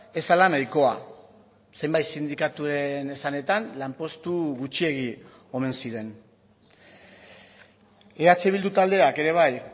ez zela nahikoa zenbait sindikatuen esanetan lanpostu gutxiegi omen ziren eh bildu taldeak ere bai